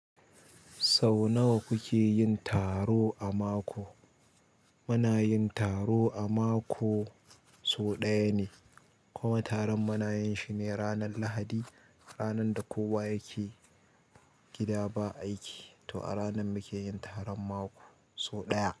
Sau nawa kuke yin taro a mako? Muna yin taro a mako sau ɗaya ne, kuma taron muna yin shi ne ranar Lahadi, ranar da kowa yake gida ba aiki, to a ranar mukeyi taron mako sau ɗaya.